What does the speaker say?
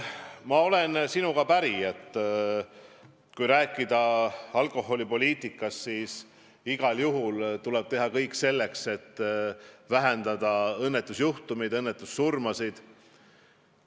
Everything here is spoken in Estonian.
Ma olen sinuga päri, et kui rääkida alkoholipoliitikast, siis igal juhul tuleb teha kõik selleks, et vähendada õnnetusjuhtumeid, õnnetussurmasid.